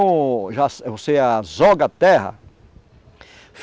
Azoga a Terra.